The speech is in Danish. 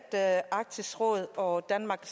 at arktisk råd og danmark